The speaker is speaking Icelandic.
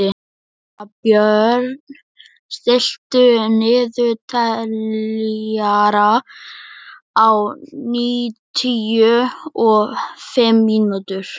Svanbjörn, stilltu niðurteljara á níutíu og fimm mínútur.